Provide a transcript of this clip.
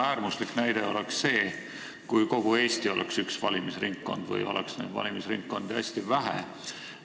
Äärmuslik näide oleks see, kui kogu Eesti oleks üks valimisringkond või oleks valimisringkondi hästi vähe.